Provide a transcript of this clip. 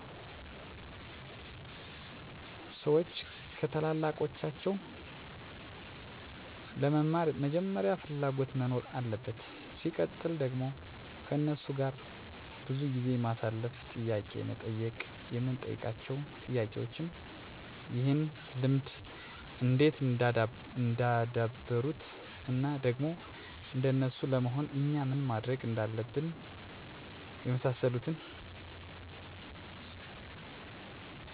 ሰዎች ከታላላቃቸው ለመማር መጀመሪያ ፍላጎት መኖር አለበት ሲቀጥል ደግሞ ከነሱ ጋር ብዙ ጊዜ ማሳለፍ፣ ጥያቄ መጠየቅ የምንጠይቃቸው ጥያቄዎችም ይህን ልምድ እንዴት እንዳደበሩት እና ደግሞ እንደነሱ ለመሆን እኛ ምን ማድረግ እንዳለብን የመሳሰሉትን ጥያቄዎች መጠየቅ። የኔን ተሞክሮ በዚህ ጉዳይ ከኛ አካባቢ በጣም አዋቂ፣ ትግስተኛ፣ አስታራቂ በቃ በአጠቃላይ ትልቅ ሰው እሚባሉ ሰው አሉ እና እኔ ሁሌም እሳቸውን ሳይ አኔ መሆን እምፈልገው እንደጋሼ ነው ነበር እምለው ከዛ በቃ እንደሳቸው መሆን ጀመርኩ እናም አሁን ላይ እርሳቸው ባልመስልም በቲንሹ ሁኛለሁ ብዬ አስባለሁ።